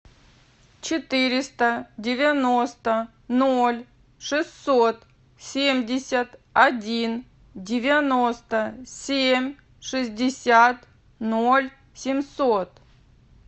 четыреста девяносто ноль шестьсот семьдесят один девяносто семь шестьдесят ноль семьсот